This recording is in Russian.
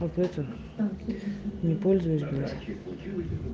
вот это не пользуюсь блять